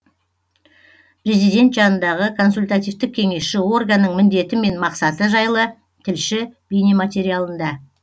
президент жанындағы консультативтік кеңесші органның міндеті мен мақсаты жайлы тілші бейнематериалында